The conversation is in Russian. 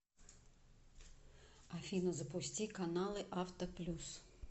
афина запусти каналы авто плюс